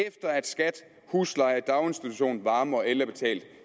efter at skat husleje daginstitution varme og el er betalt